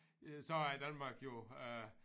Øh så er Danmark jo øh